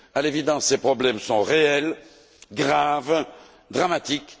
À l'évidence, ces problèmes sont réels, graves, dramatiques.